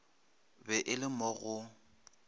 be e le mo go